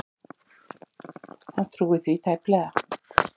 Hann trúir því tæplega.